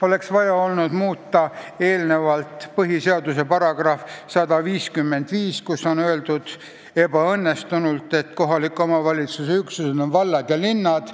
Oleks vaja olnud muuta eelnevalt põhiseaduse § 155, kus on öeldud – ebaõnnestunult –, et kohaliku omavalitsuse üksused on vallad ja linnad.